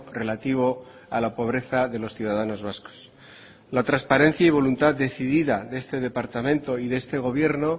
relativo a la pobreza de los ciudadanos vascos la transparencia y voluntad decidida de este departamento y de este gobierno